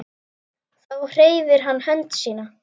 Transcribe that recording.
Þá hreyfir hann hönd sína.